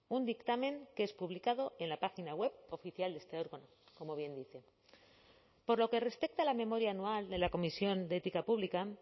un dictamen que es publicado en la página web oficial de este órgano como bien dice por lo que respecta a la memoria anual de la comisión de ética pública